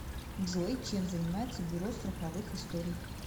джой чем занимается бюро страховых историй